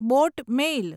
boat મેલ